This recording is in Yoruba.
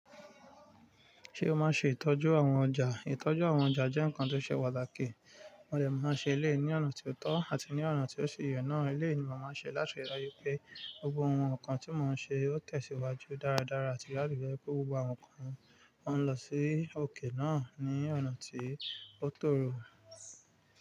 Ṣé o máa ṣe ìtọ́jú àwọn ọjà? Ìtọ́jú àwọn ọjà jẹ́ nǹkan tó ṣe pàtàkì. Wọ́n dẹ máa ṣe éleyi ní ọ̀nà tí ó tọ́ àti ní ọ̀nà tí ó ṣi yè náà. Éleyi ni màá máa ṣe láti rí i pé gbogbo àwọn nǹkan tí màá ṣe ó tẹ̀síwájú dáradára àti láti je wipé gbogbo àwọn nǹkan won ń lọ sí òkè náà ní ọ̀nà tí ó tòrò.